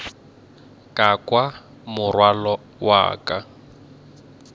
ka kwa morwalo wa ka